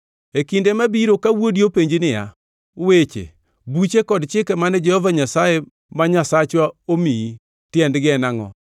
E kinde mabiro ka wuodi openji niya, “Weche, buche kod chike mane Jehova Nyasaye ma Nyasachwa omiyi, tiendgi en angʼo?”